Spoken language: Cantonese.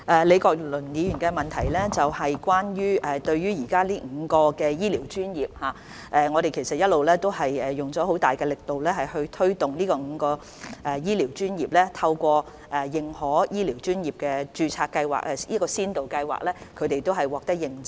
李國麟議員的補充質詢是關於5個醫療專業，其實我們一直有大力推動這5個醫療專業，並透過認可醫療專業註冊計劃予以認證。